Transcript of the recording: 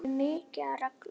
Það er mikið af reglum.